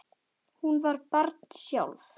Hún var barn sjálf.